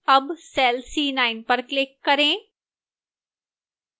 अब cell c9 पर click करें